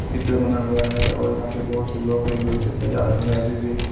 चित्र बना हुआ हैं और यहाँ पे बहोत से लोग हैं जो इसे सजा रहे हैं अभी भी--